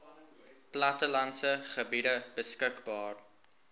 plattelandse gebiede beskikbaar